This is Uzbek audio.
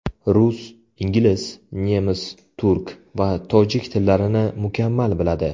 Rus, ingliz, nemis, turk va tojik tillarini mukammal biladi.